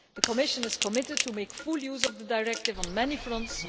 The Commission is committed to make full use of the Directive on many fronts.